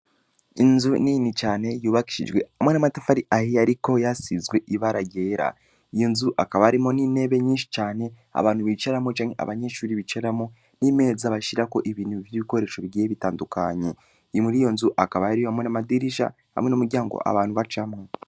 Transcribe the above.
Inzu nini cane yubakishijwe hamwe namatafi ari ahiy, ariko yasizwe ibara ryera iyo nzu akaba arimo n'inebe nyinshi cane abantu bicaramwo janke abanyeshuri bicaramo n'imeza bashirako ibintu vy'ibikoresho bigiye bitandukanye iyi muri iyo nzu akaba yari yobamwe n'amadirisha hamwe n'umuryango abantu bacamwe.